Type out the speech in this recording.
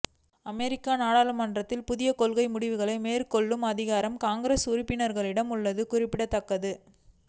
அமெரிக்க நாடாளுமன்றத்தில் புதிய கொள்கை முடிவுகளை மேற்கொள்ளும் அதிகாரம் காங்கிரஸ் உறுப்பினர்களிடம் உள்ளது குறிப்பிடத்தக்கது